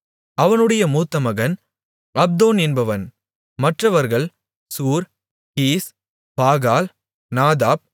அவனுடைய மூத்த மகன் அப்தோன் என்பவன் மற்றவர்கள் சூர் கீஸ் பாகால் நாதாப்